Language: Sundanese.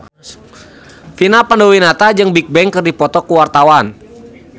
Vina Panduwinata jeung Bigbang keur dipoto ku wartawan